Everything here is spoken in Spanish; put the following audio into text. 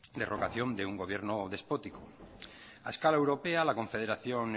de un gobierno despótico a escala europea la confederación